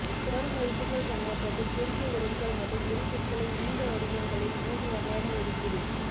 சொல் மதிப்புகள் கண்ணோட்டத்தில் குறுகிய உறவுகள் மற்றும் உரிச்சொற்களை நீண்ட வடிவங்களில் மூன்று வகையான ஒதுக்கீடு